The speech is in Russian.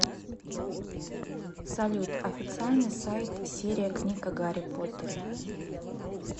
салют официальный сайт серия книг о гарри поттере